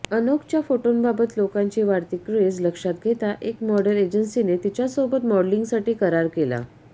अनोकच्या फोटोंबाबत लोकांची वाढती क्रेज लक्षात घेता एका मॉडेल एजन्सीने तिच्यासोबत मॉडेलिंगसाठी करार केला